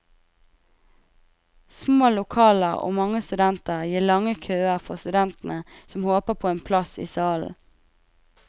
Små lokaler og mange studenter gir lange køer for studentene som håper på en plass i salen.